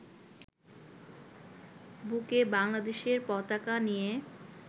বুকে বাংলাদেশের পতাকা নিয়ে